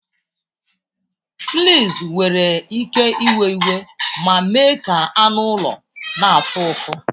Fleas nwere ike iwe iwe ma mee ka anụ ụlọ na-afụ ụfụ